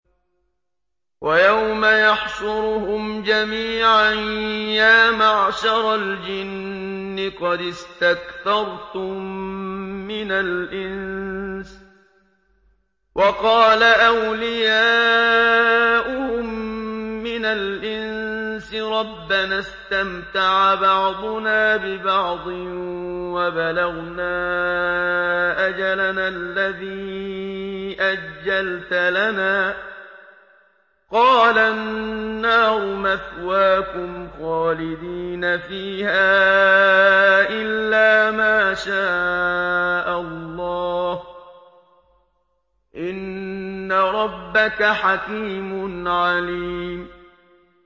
وَيَوْمَ يَحْشُرُهُمْ جَمِيعًا يَا مَعْشَرَ الْجِنِّ قَدِ اسْتَكْثَرْتُم مِّنَ الْإِنسِ ۖ وَقَالَ أَوْلِيَاؤُهُم مِّنَ الْإِنسِ رَبَّنَا اسْتَمْتَعَ بَعْضُنَا بِبَعْضٍ وَبَلَغْنَا أَجَلَنَا الَّذِي أَجَّلْتَ لَنَا ۚ قَالَ النَّارُ مَثْوَاكُمْ خَالِدِينَ فِيهَا إِلَّا مَا شَاءَ اللَّهُ ۗ إِنَّ رَبَّكَ حَكِيمٌ عَلِيمٌ